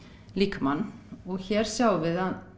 líkamann og hér sjáum við að